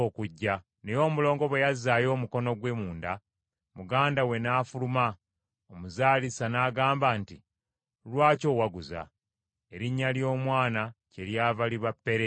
Naye omulongo bwe yazzaayo omukono gwe munda, muganda we n’afuluma; omuzaalisa n’agamba nti, “Lwaki owaguzza?” Erinnya ly’omwana kyeryava liba Pereezi.